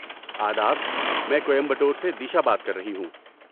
آداب! میں کوئمبٹور سے دیشا بات کر رہی ہوں۔